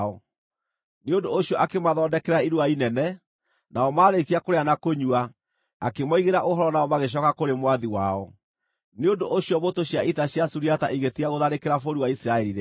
Nĩ ũndũ ũcio akĩmathondekera iruga inene, nao maarĩkia kũrĩa na kũnyua, akĩmoigĩra ũhoro nao magĩcooka kũrĩ mwathi wao. Nĩ ũndũ ũcio mbũtũ cia ita cia Suriata igĩtiga gũtharĩkĩra bũrũri wa Isiraeli rĩngĩ.